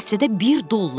Həftədə bir dollar.